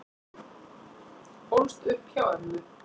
Ólst upp hjá ömmu